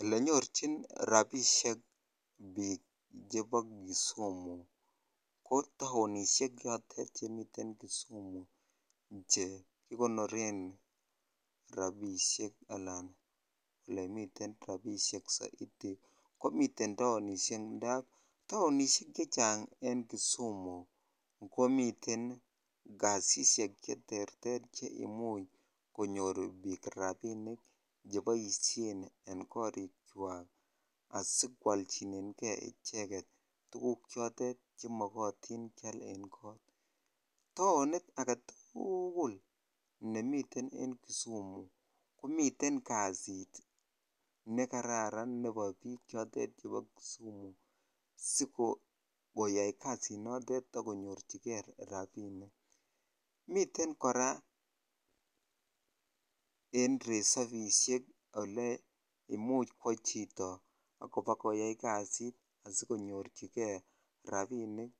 Olenyorchin rabishek biik chebo kisumu ko taonishek chotet chemiten kisumu chekikonoren rabishek alan olemiten rabishek sorting ko chemiten taonishek en kisumu ko miten kasishek cheterter che imuch konyor biik rabinik cheboisien en korik chwak asikoolchinen jei icheket tukuk chotet chemokotin taonit aketukul nemiten en kisumu komiten kasit nebo biik chotet chebo kisumu sikoyai jasinotet akonyorchikei raninik miten Korea en resafishek ole imuch kwo chito akobakoyai kasit asikonyorchikei rabinik